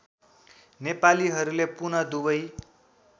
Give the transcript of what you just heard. नेपालीहरूले पुन दुवै